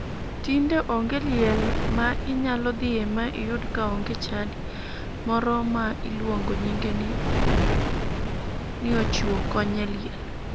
Tinde onge liel ma inyalo dhiye mi iyud ka onge chadi moro ma iluongo nyinge ni ochiwo kony e liel.